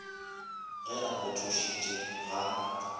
ge a go thušitše ga